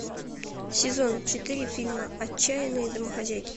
сезон четыре фильма отчаянные домохозяйки